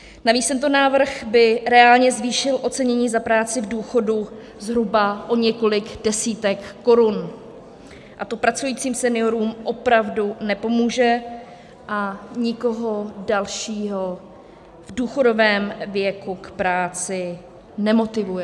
Navíc tento návrh by reálně zvýšil ocenění za práci v důchodu zhruba o několik desítek korun a to pracujícím seniorům opravdu nepomůže a nikoho dalšího v důchodovém věku k práci nemotivuje.